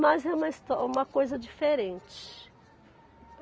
Mas é uma histó, uma coisa diferente.